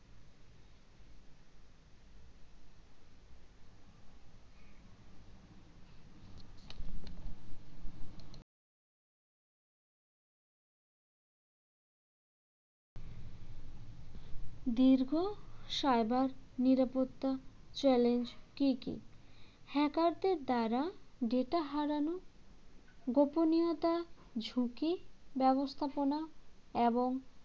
দীর্ঘ cyber নিরাপত্তা challenge কী কী hacker দের দ্বারা data হারানো গোপনীয়তা ঝুঁকি ব্যবস্থাপনা এবং